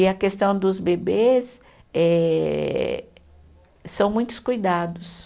E a questão dos bebês eh, são muitos cuidados.